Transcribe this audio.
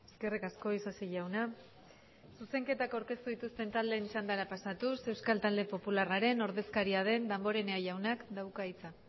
eskerrik asko isasi jauna zuzenketak aurkeztu dituzten taldeen txandara pasatuz euskal talde popularraren ordezkaria den damborenea jaunak dauka hitza